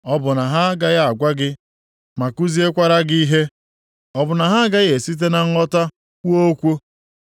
Ọ bụ na ha agaghị agwa gị ma kuziekwara gị ihe? Ọ bụ na ha agaghị esite na nghọta kwuo okwu?